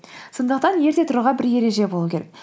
сондықтан ерте тұруға бір ереже болу керек